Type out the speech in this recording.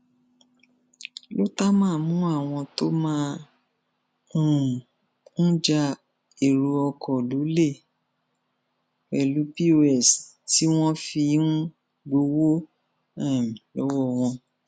lótámà mú àwọn tó máa um ń já èrò ọkọ lọlẹ pẹlú kos tí wọn fi ń gbowó um lọwọ wọn